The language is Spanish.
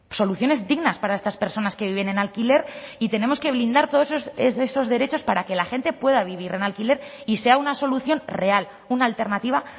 soluciones dignas para estas personas que viven en alquiler y tenemos que blindar todos esos derechos para que la gente pueda vivir en alquiler y sea una solución real una alternativa